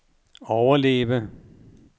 overleve